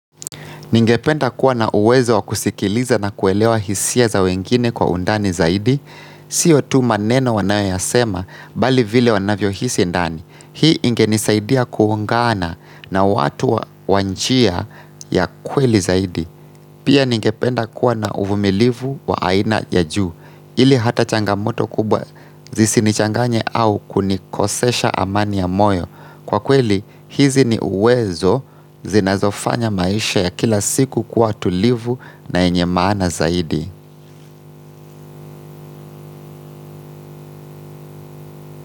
Ningependa kuwa na uwezo wakusikiliza na kuelewa hisia za wengine kwa undani zaidi. Sio tu maneno wanayoyasema bali vile wanavyo hisi indani. Hii ingenisaidia kuungana na watu wa njia ya kweli zaidi Pia ningependa kuwa na uvumilivu wa aina ya juu ili hata changamoto kubwa zisinichanganye au kunikosesha amani ya moyo. Kwa kweli, hizi ni uwezo zinazofanya maisha ya kila siku kuwa tulivu na yenye maana zaidi.